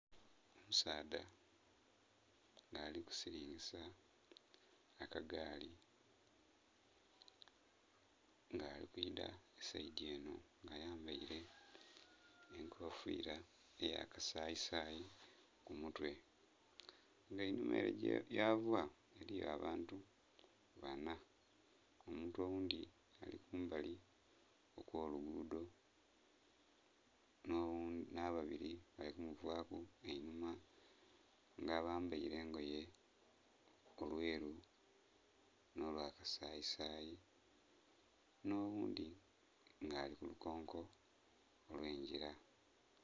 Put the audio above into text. Omusaadha nga alikusilingisa aka gaali nga ali kwidha saidhi enho nga ayambaile enkofiira eya kasayisayi ku mutwe, nga einhuma ele yava eliyo abantu banna. Omuntu oghundhi ali kumbali okw'oluguudho nh'ababili bali ku muvaaku einhuma nga bambaile engoye olwelu nh'olwa kasayisayi nh'oghundhi nga ali ku lukonko olw'engila.